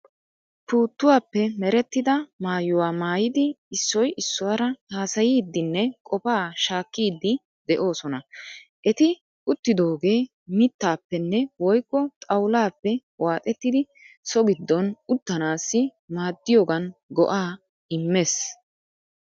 Puuttuwaappe merettida maayyuwaa maayyidi issoy issuwaara haasayiiddinne qofa shaakkiiddi de'oosona. Eti uttidoogee mittaappenne woykko xawullaappe waaxettidi so giddon uttanaassi maaddiyogan go'aa immees.